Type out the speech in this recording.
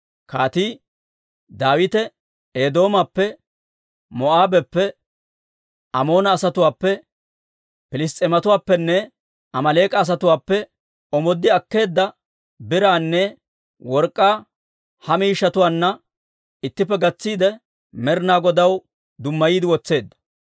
Kaatii Daawite Eedoomappe, Moo'aabeppe, Amoona asatuwaappe, Piliss's'eematuwaappenne Amaaleek'a asatuwaappe omooddi akkeedda biraanne work'k'aa ha miishshatuwaanna ittippe gatsiide, Med'inaa Godaw dummayiide wotseedda.